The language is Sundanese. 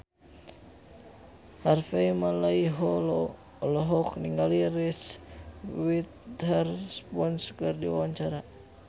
Harvey Malaiholo olohok ningali Reese Witherspoon keur diwawancara